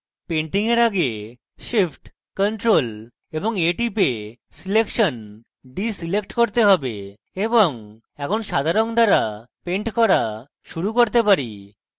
painting এর আগে shift + ctrl + a টিপে আমার selection select করতে have এবং এখন সাদা রঙ দ্বারা পেন্ট করা শুরু করতে পারি